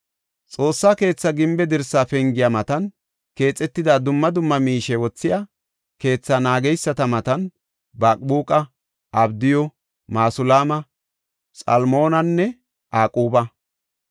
Xoossa keetha gimbe dirsaa pengiya matan keexetida dumma dumma miishe wothiya keethaa naageysati Mataana, Baqbuuqa, Abdiyu, Masulaama, Xalmoonanne Aquba.